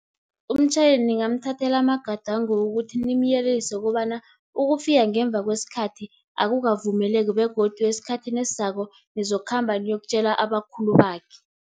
Umtjhayeli ningamthathela amagadango ukuthi, nimyelelise ukobana ukufika ngemva kwesikhathi akukavumeleki, begodu esikhathini esizako nizokhamba niyokutjela abakhulu bakhe.